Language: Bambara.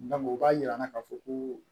o b'a yira an na k'a fɔ ko